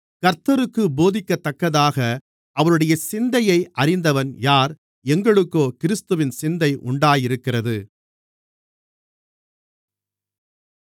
கர்த்தருக்குப் போதிக்கத்தக்கதாக அவருடைய சிந்தையை அறிந்தவன் யார் எங்களுக்கோ கிறிஸ்துவின் சிந்தை உண்டாயிருக்கிறது